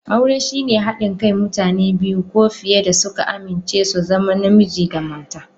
Aure shine haɗin kai na mutane biyu ko fiye da suka amince su zama Namiji da mata.